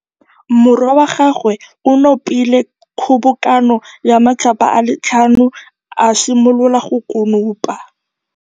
Morwa wa gagwe o nopile kgobokanô ya matlapa a le tlhano, a simolola go konopa.